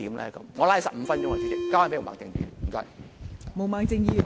我說了15分鐘，交回毛孟靜議員。